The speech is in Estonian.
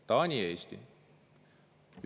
Taani ja Eesti!